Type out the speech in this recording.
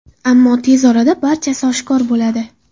Ammo tez orada barchasi oshkor bo‘ladi.